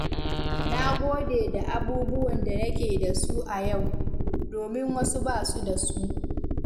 Na gode da abubuwan da nake da su a yau, domin wasu ba su da su.